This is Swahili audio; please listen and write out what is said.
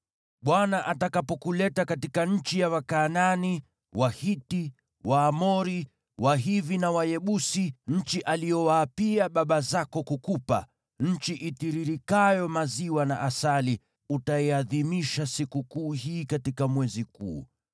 Bwana atakapokuleta katika nchi ya Wakanaani, Wahiti, Waamori, Wahivi na Wayebusi, nchi aliyowaapia baba zako kukupa, nchi itiririkayo maziwa na asali, utaiadhimisha sikukuu hii katika mwezi huu: